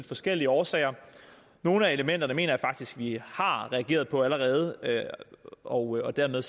forskellige årsager nogle af elementerne mener jeg faktisk at vi har reageret på allerede og dermed